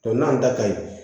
n'a da ka ɲi